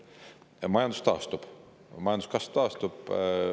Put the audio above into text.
Ja majandus taastub, majanduskasv taastub.